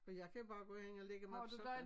For jeg kan bare gå ind og lægge mig på sofaen